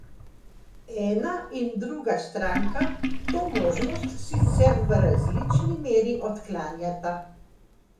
Ena in druga stranka to možnost, sicer v različni meri, odklanjata.